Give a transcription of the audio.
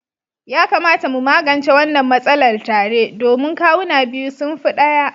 Ya kamata mu magance wannan matsalar tare domin kawuna biyu sun fi ɗaya.